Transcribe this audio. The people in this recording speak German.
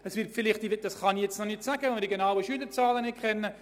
Ich kann keine genauen Zahlen nennen, weil ich die Schülerzahlen noch nicht kenne.